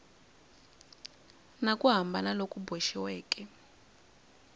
na ku hambana loku boxiweke